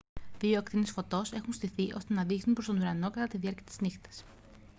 δύο ακτίνες φωτός έχουν στηθεί ώστε να δείχνουν προς τον ουρανό κατά τη διάρκεια της νύχτας